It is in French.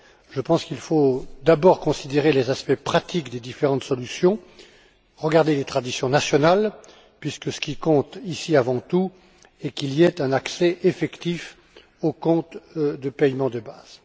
Je pense qu'il faut d'abord étudier les aspects pratiques des différentes solutions et regarder les traditions nationales, puisque ce qui compte ici, avant tout, c'est qu'il y ait un accès effectif aux comptes de paiement de base.